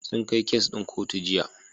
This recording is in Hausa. Sun kai kes ɗin kotu Jiya.